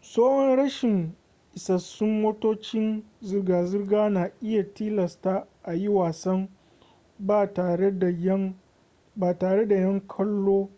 tsoron rashin isassun motocin zirga zirga na iya tilasta a yi wasan ba tare da yan kallo